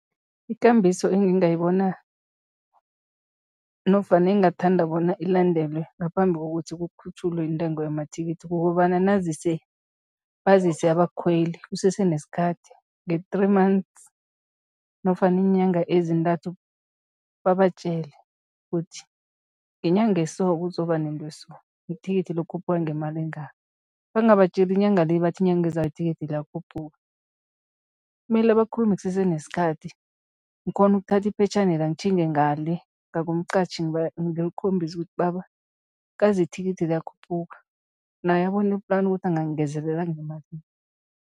Ikambiso engingayibona nofana engingathanda bona ilandelwe ngaphambi kokuthi kukhutjhulwe intengo yamathikithi kukobana, bazise abakhweli kusese nesikhathi nge-three months nofana iinyanga ezintathu, babatjela kuthi ngenyanga eso kuzoba nento eso, ithikithi lokhuphuka ngamali engaka, bangabatjeli inyanga le bathi inyanga ezako ithikithi liyakhuphuka. Mele bakhulume kusese nesikhathi, ngikghone ukuthatha iphetjhanela ngitjhinge ngale ngakumqatjhi ngimkhombise ukuthi, baba, kazi ithikithi liyakhuphuka naye abone i-plan ukuthi angangingezelela ngemalini.